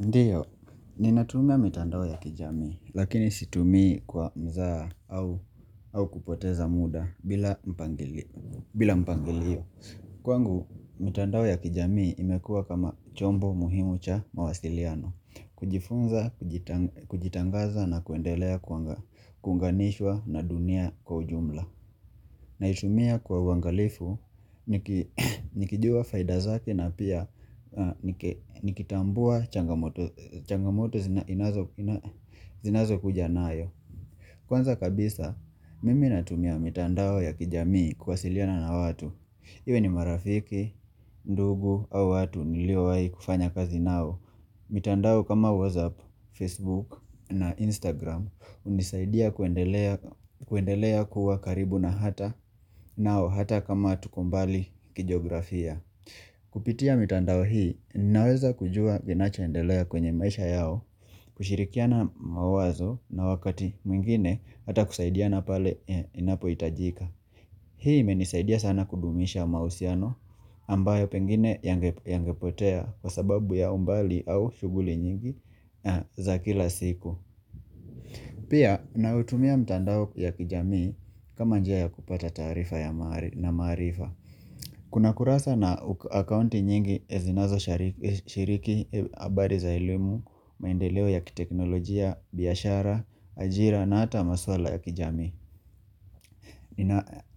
Ndiyo, ninatuma mitandao ya kijamii, lakini situmii kwa mzaha au au kupoteza muda bila mpangili mpangilio. Kwangu, mitandao ya kijami imekua kama chombo muhimu cha mawasiliano, kujifunza, kujita kujitangaza na kuendelea kuwanga kunganishwa na dunia kwa ujumla. Na itumia kwa uwangalifu, niki nikijua faida zake na pia niki nikitambua changamoto changamoto inazo zinazo kuja nayo Kwanza kabisa, mimi natumia mitandao ya kijamii kuwasiliana na watu iwe ni marafiki, ndugu au watu niliowahi kufanya kazi nao mitandao kama WhatsApp, Facebook na Instagram hunisaidia kuendelea kuendelea kuwa karibu na hata nao hata kama tuko mbali kijografia Kupitia mitandao hii ninaweza kujua kinacho endelea kwenye maisha yao kushirikiana mawazo na wakati mwingine hata kusaidiana pale inapo hitajika Hii menisaidia sana kudumisha mahusiano ambayo pengine yangd yange potea kwa sababu ya umbali au shughuli nyingi za kila siku. Pia naoutumia mtandao ya kijamii kama njia kupata taarifa ya maa na maarifa Kuna kurasa na akaunti nyingi zinazo shari shiriki habari za elimu, maendeleo ya kiteknolojia, biashara, ajira na hata maswala ya kijamii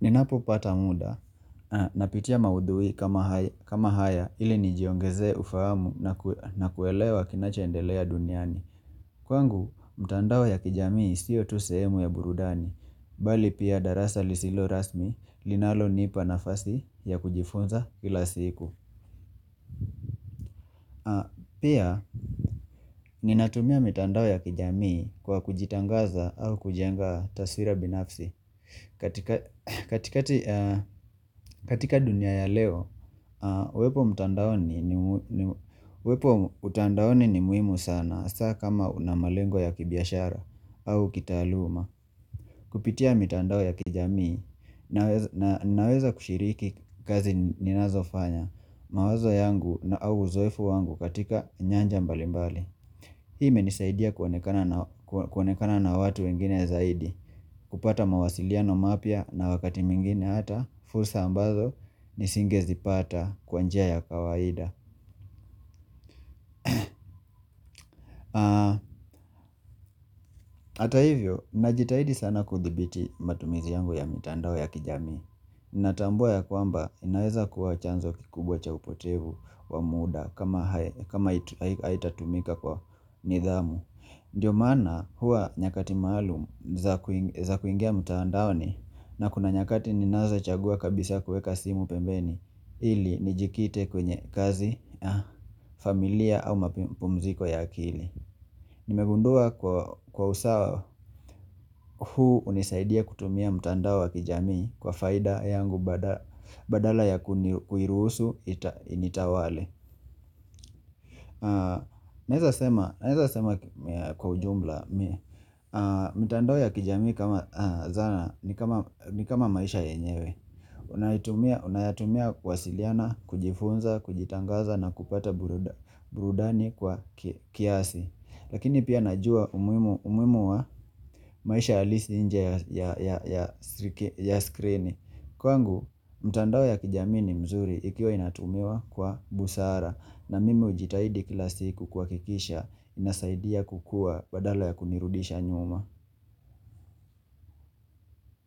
Ninapo pata mda napitia maudhui kama ha kama haya ili nijiongezee ufahamu na kuelewa kinacho ndelea duniani Kwangu, mtandao ya kijamii siyo tu sehemu ya burudani, Bali pia darasa lisilo rasmi linaro nipa nafasi ya kujifunza kila siku Pia, ninatumia mitandao ya kijamii kwa kujitangaza au kujenga taswira binafsi katika katika dunia ya leo, uwepo wepo utandaoni ni muhimu sana saa kama na malengo ya kibiashara au kitaaluma Kupitia mitandao ya kijamii nawe naweza kushiriki kazi ninazofanya mawazo yangu na au uzoefu wangu katika nyanja mbalimbali Hii imenisaidia kuoanekana na kuonekana na watu wengine zaidi, kupata mawasiliano mapya na wakati mwingine hata, fursa ambazo, nisinge zipata kwa njia ya kawaida. Ata hivyo, najitahidi sana kuthibiti matumizi yangu ya mitandao ya kijamii. Natambua ya kwamba, inaweza kuwa chanzo kikubwa cha upotevu wa muda kama haitatumika kwa ni dhamu. Ndio maana hua nyakati maalum za za kuingia mutandaoni na kuna nyakati ninazo chagua kabisa kuweka simu pembeni ili nijikite kwenye kazi, familia au mapumziko ya akili Nimegundua kwa kwa usawa huu hunisaidia kutumia mtandao wa kijamii kwa faida yangu bada badala ya kuni kuiruhusu initawale, Naeza sema naeza sema kwa ujubla, mitandao ya kijami kama zana ni kama ni kama maisha yenyewe, Unayatumia unayetumia kuwasiliana, kujifunza, kujitangaza na kupata buruda burudani kwa kia kiasi Lakini pia najua umuhimu umuhimu wa maisha halisi nje ya ya ya skrini Kwangu, mtandao ya kijamii ni mzuri ikiwa inatumiwa kwa busara na mimi hujitahidi kila siku kuhakikisha inasaidia kukua badala ya kunirudisha nyuma.